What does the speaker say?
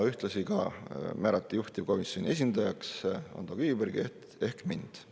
Ühtlasi määrati juhtivkomisjoni esindajaks Ando Kiviberg ehk mina.